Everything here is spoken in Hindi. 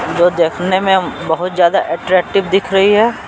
देखने में बहुत ज्यादा अट्रैक्टिव दिख रही है।